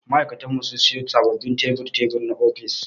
Ma'aikatar mu sun siyo sababbin tebur-tebur na ofis.